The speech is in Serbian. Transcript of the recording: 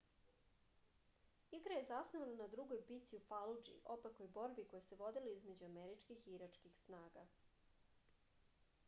igra je zasnovana na drugoj bici u faludži opakoj borbi koja se vodila između američkih i iračkih snaga